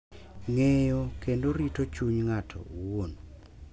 Ng’eyo, kendo rito chuny ng’ato owuon